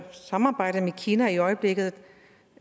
samarbejde med kina i øjeblikket